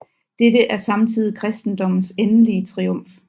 Dette er samtidig kristendommens endelige triumf